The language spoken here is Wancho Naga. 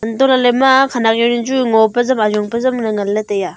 atoh leley ima khenek jawnu chu ngo pa zam ajong pe zam le tai a.